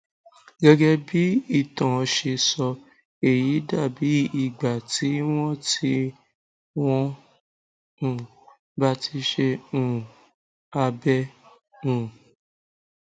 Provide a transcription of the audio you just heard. gẹgẹ bí ìtàn ṣe sọ èyí dà bí ìgbà tí wọn tí wọn um bá ti ṣe um abẹ um